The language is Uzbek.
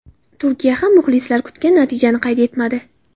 Turkiya ham muxlislar kutgan natijani qayd etmadi.